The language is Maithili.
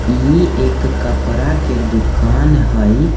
ई एक कपड़ा के दुकान हई।